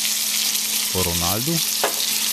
O Ronaldu?